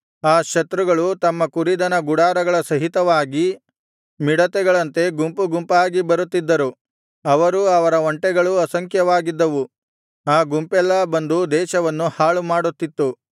ಆ ಶತ್ರುಗಳು ತಮ್ಮ ಕುರಿದನ ಗುಡಾರಗಳ ಸಹಿತವಾಗಿ ಮಿಡತೆಗಳಂತೆ ಗುಂಪುಗುಂಪಾಗಿ ಬರುತ್ತಿದ್ದರು ಅವರೂ ಅವರ ಒಂಟೆಗಳೂ ಅಸಂಖ್ಯವಾಗಿದ್ದವು ಆ ಗುಂಪೆಲ್ಲಾ ಬಂದು ದೇಶವನ್ನು ಹಾಳುಮಾಡುತ್ತಿತ್ತು